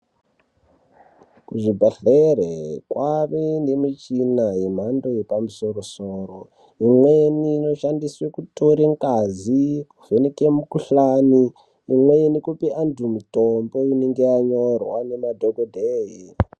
Kuzvibhedhlere kwave nemichina yemhqndo yepamusoro-soro imweni inoshandiswe kutore ngazi kuvheneke mikuhlani, imweni kupe anthu mitombo inenge yanyorwa ngemadhokodheya.